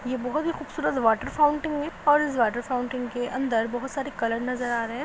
यह बोहोत ही खूबसूरत वाटर फाउंट है और इस वाटर फाउंटिंग के अंदर बहुत सारे कलर नजर आ रहे है।